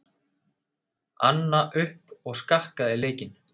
Anna upp og skakkaði leikinn.